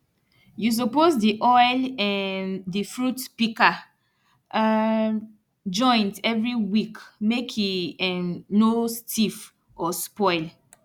you suppose dey oil um di fruit pika um joint every week mek e um no stiff or spoil